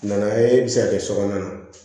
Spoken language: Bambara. Nana ye e bɛ se ka kɛ so kɔnɔna ye